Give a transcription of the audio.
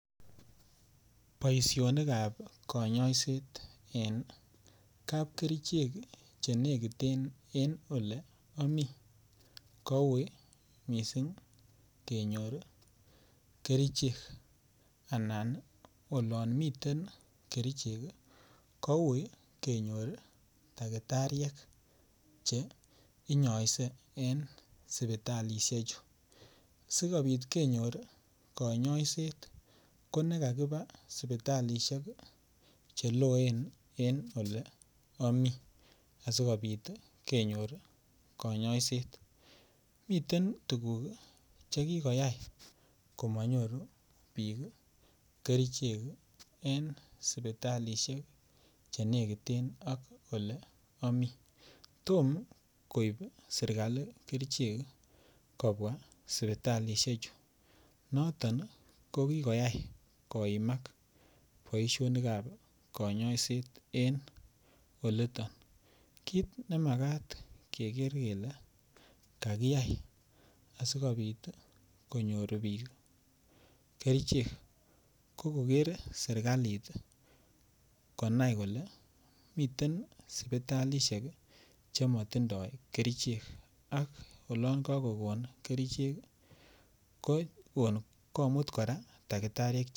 Boisinikab kanyoiset en kapkerichek chenekiten en ole amii koui missing kenyor kerichek anan olomiten kerichek koui kenyor dakitariek cheinyoise en sipitalisiechu, sikobit kenyor konyoiset konekakipaa sipitalisiek cheloen en ole amii asikobit kenyor kanyoiset miten tukuk chekikoyai komonyoru biik kerichek en sipitalisiek chenekiten ak ole amii tom koip serikali kerichek kobwa sipitalisiechu konoton kokikoyai koimak boisionikab konyoiset en oliton kit nemakat keker kele kakiyai asikopit konyor biik kerichek ko koker serikalit akonai kole miten sipitalisiek chemotindoo kerichek ak olon kokokon kerichek komut kora dakitariek.